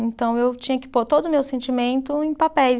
Então, eu tinha que pôr todo o meu sentimento em papéis.